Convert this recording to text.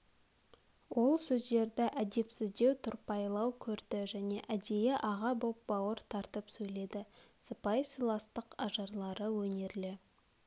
ол сөздерді әдепсіздеу тұрпайылау көрді және әдейі аға боп бауыр тартып сөйледі сыпайы сыйластық ажарлары өнерлі